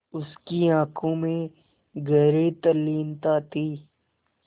उसकी आँखों में गहरी तल्लीनता थी